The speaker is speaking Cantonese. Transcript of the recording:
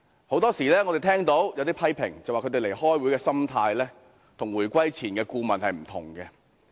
我們經常聽到有批評指他們開會的心態與回歸前的顧問不同。